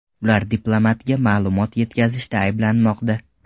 Ular diplomatga ma’lumot yetkazishda ayblanmoqda.